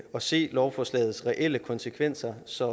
og se lovforslagets reelle konsekvenser så